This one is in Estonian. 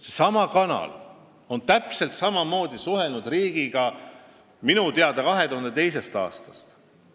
Seesama kanal on täpselt samamoodi riigiga suhelnud minu teada 2002. aastast.